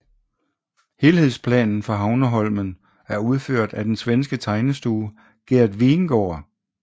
Helhedsplanen for Havneholmen er udført af den svenske tegnestue Gert Wingårdh